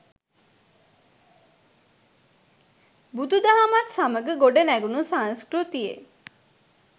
බුදු දහමත් සමග ගොඩනැඟුණු සංස්කෘතියේ